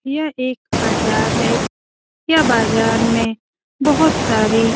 यह एक बाजार है यह बाजार में बहुत सारी --